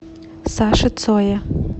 саше цое